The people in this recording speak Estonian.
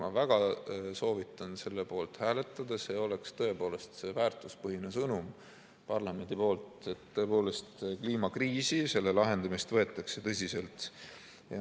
Ma väga soovitan selle poolt hääletada, see oleks tõepoolest väärtuspõhine sõnum parlamendi poolt, et kliimakriisi ja selle lahendamist võetakse tõsiselt.